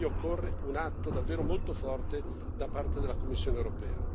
Quindi occorre un atto davvero molto forte da parte della Commissione europea.